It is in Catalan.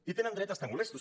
i tenen dret a estar molestos